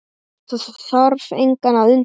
Þarf engan að undra það.